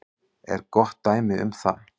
er gott dæmi um það.